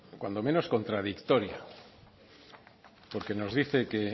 cuanto menos contradictoria porque nos dice que